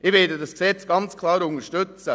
Ich werde dieses Gesetz ganz klar unterstützen.